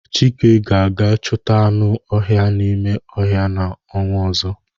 Chike ga-aga chuta anu ohia n'ime ohia n' onwa ozo